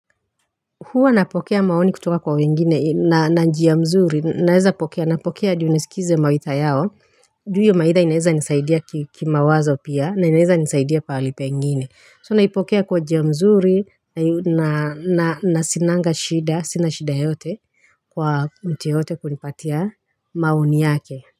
Huwa napokea maoni kutoka kwa wengine na njia mzuri naeza pokea napokea juu nisizikize mawaitha yao juu hiyo maitha inaeza nisaidia kimawazo pia na inaeza nisaidia pahali pengine so naipokea kwa njia mzuri na sinanga shida sina shida yote kwa mtu yoyote kunipatia maoni yake.